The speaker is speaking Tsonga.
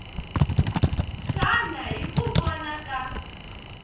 xana hi ku vona ka